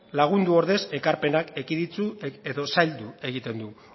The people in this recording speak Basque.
lagundu ordez ekarpenak ekiditu edo zaildu egiten du